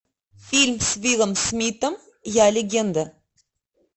фильм с уиллом смитом я легенда